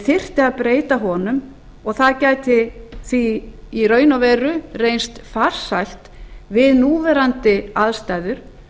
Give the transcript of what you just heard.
þyrfti að breyta honum það gæti því í raun og veru reynst farsælt við núverandi aðstæður